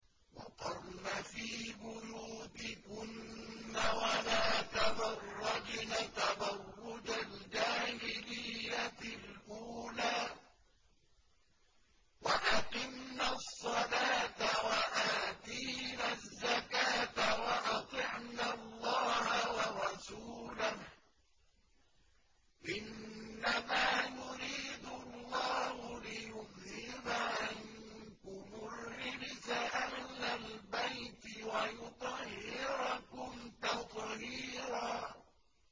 وَقَرْنَ فِي بُيُوتِكُنَّ وَلَا تَبَرَّجْنَ تَبَرُّجَ الْجَاهِلِيَّةِ الْأُولَىٰ ۖ وَأَقِمْنَ الصَّلَاةَ وَآتِينَ الزَّكَاةَ وَأَطِعْنَ اللَّهَ وَرَسُولَهُ ۚ إِنَّمَا يُرِيدُ اللَّهُ لِيُذْهِبَ عَنكُمُ الرِّجْسَ أَهْلَ الْبَيْتِ وَيُطَهِّرَكُمْ تَطْهِيرًا